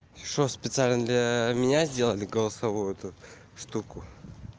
ты что специально для меня сделали голосовую эту штуку